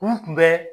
N tun bɛ